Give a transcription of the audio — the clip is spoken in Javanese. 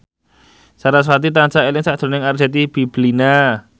sarasvati tansah eling sakjroning Arzetti Bilbina